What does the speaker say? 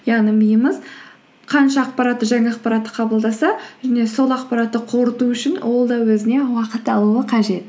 яғни миымыз қанша ақпаратты жаңа ақпаратты қабылдаса және сол ақпаратты қорыту үшін ол да өзіне уақыт алуы қажет